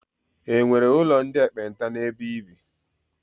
E nwere ụlọ ndị ekpenta n'ebe i bi?